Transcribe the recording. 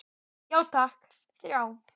Já takk, þrjá.